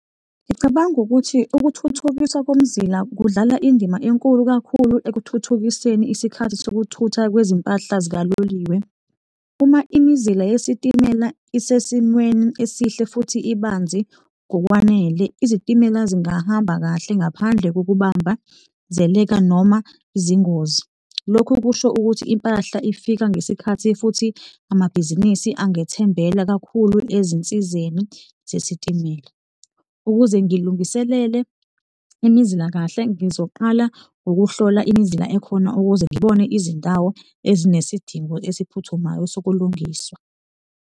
Ngicabanga ukuthi ukuthuthukiswa komzila kudlala indima enkulu kakhulu ekuthuthukiseni isikhathi sokuthutha kwezimpahla zikaloliwe. Uma imizila yesitimela isesimweni esihle futhi ibanzi ngokwanele, izitimela zingahamba kahle ngaphandle kokubambazeleka noma izingozi, lokhu kusho ukuthi impahla ifika ngesikhathi futhi amabhizinisi angethembela kakhulu ezinsizeni zesitimela. Ukuze ngilungiselele imizila kahle, ngizoqala ngokuhlola imizila ekhona ukuze ngibone izindawo ezinesidingo esiphuthumayo sokulungiswa.